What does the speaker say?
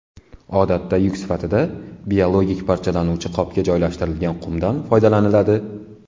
Odatda yuk sifatida biologik parchalanuvchi qopga joylashtirilgan qumdan foydalaniladi.